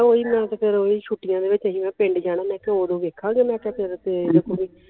ਓਹੀ ਮੈਂ ਕਿਹਾ ਫੇਰ ਓਹੀ ਛੁੱਟੀਆਂ ਦੇ ਵਿਚ ਜਿਵੇਂ ਪਿੰਡ ਜਾਣਾ ਮੈਂ ਕਿਹਾ ਓਦੋਂ ਵੇਖਾਂਗੇ ਮੈਂ ਕਿਹਾ ਫੇਰ